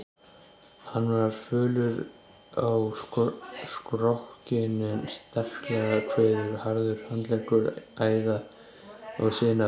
Hann var fölur á skrokkinn en sterklegur, kviðurinn harður, handleggir æða- og sinaberir.